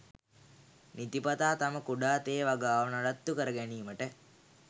නිතිපතා තම කුඩා තේ වගාව නඩත්තු කර ගැනීමට